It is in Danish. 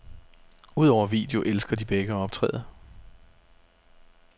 Udover video elsker de begge at optræde.